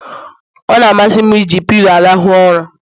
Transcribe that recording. Ọ na-amasị m eji pilo m arahụ ụra